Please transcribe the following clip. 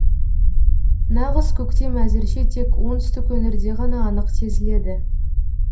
нағыз көктем әзірше тек оңтүстік өңірде ғана анық сезіледі